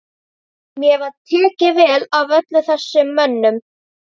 Mér var tekið vel af öllum þessum mönnum.